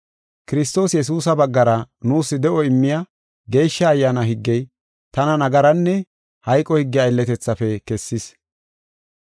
Kiristoos Yesuusa baggara nuus de7o immiya Geeshsha Ayyaana higgey, tana nagaranne hayqo higge aylletethaafe kessis.